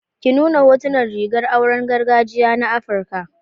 Ki nuna hotunan rigar auren gargajiya na Afirka.